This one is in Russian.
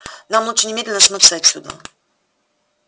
нам лучше немедленно смыться отсюда